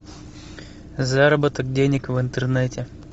заработок денег в интернете